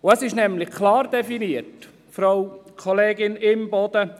Es ist nämlich klar definiert, Frau Kollegin Imboden.